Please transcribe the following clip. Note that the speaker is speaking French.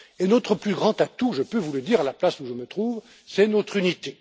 Notre plus grand atout, je peux vous le dire, à la place où je me trouve, c'est notre unité.